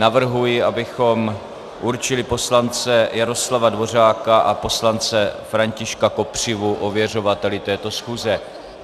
Navrhuji, abychom určili poslance Jaroslava Dvořáka a poslance Františka Kopřivu ověřovateli této schůze.